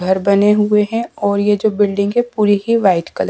घर बने हुए हैं और ये जो बिल्डिंग है पूरी ही वाइट कलर --